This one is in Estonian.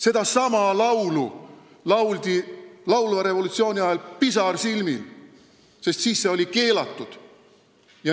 Sedasama laulu lauldi laulva revolutsiooni ajal pisarsilmil, sest siis oli see keelatud.